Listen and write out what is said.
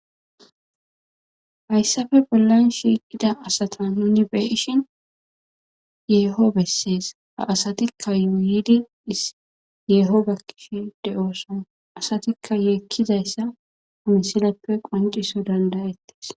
hayssappe bollan shiiqida asata nuni beishin yeeho bessees ha asatikka yuuyidi is yeeho yekishe de'ooson asatikka yeekkizayssa ha misileppe qonciso dandayettes